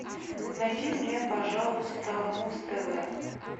найди мне пожалуйста муз тв